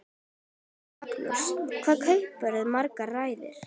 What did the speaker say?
Magnús: Hvað kaupirðu margar raðir?